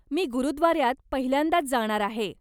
मी गुरुद्वाऱ्यात पहिल्यांदाच जाणार आहे.